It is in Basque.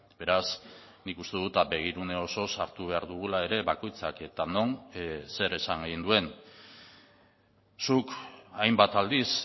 beraz nik uste dut begirune osoz hartu behar dugula ere bakoitzak eta non zer esan egin duen zuk hainbat aldiz